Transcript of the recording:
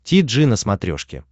ти джи на смотрешке